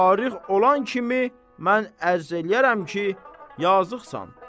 Fariğ olan kimi mən ərz eləyərəm ki, yazıqsan.